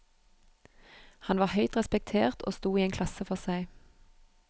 Han var høyt respektert og sto i en klasse for seg.